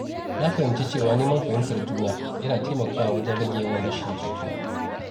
Na fahimci cewa neman fahimtar juna yana taimakawa wajen rage yawan rashin jituwa.